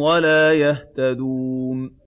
وَلَا يَهْتَدُونَ